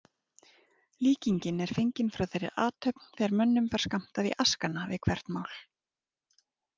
Líkingin er fengin frá þeirri athöfn þegar mönnum var skammtað í askana við hvert mál.